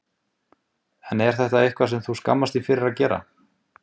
Sindri Sindrason: En er þetta eitthvað sem þú skammast þín fyrir að gera?